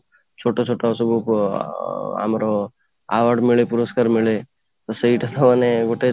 ଛୋଟ ଛୋଟ ସବୁ ଯୋଉ ଅଂ ଆମର ଆୱାର୍ଡମିଲେ ପୁରସ୍କାର ମିଳେ ତ ସେଇଟା ତ ମାନେ ଗୋଟେ